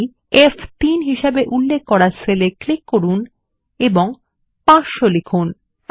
তাই ফ3 হিসেবে উল্লেখ করা সেলে ক্লিক করুন এবং 500 লিখুন